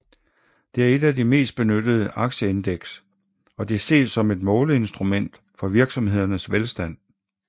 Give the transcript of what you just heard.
Det er et af de mest benyttede aktieindeks og det ses som et måleinstrument for virksomhedernes velstand